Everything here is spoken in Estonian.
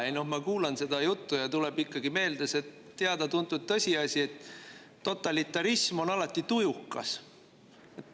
Ei noh, ma kuulasin seda juttu ja tuli meelde see teada-tuntud tõsiasi, et totalitarism on alati tujukas.